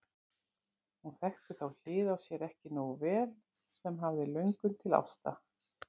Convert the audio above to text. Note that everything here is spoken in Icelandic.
Hún þekkti þá hlið á sér ekki nógu vel sem hafði löngun til ásta.